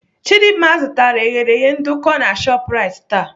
Chidimma zụtara eghereghe nduku na Shoprite taa.